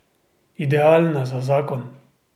Idealna za zakon.